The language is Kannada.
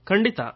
ಖಂಡಿತ